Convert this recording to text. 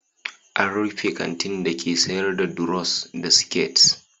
An rufe kantin dake sayar da duros da siket.